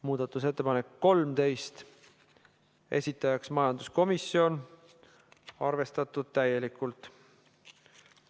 Muudatusettepanek nr 13, esitajaks majanduskomisjon, arvestatud täielikult.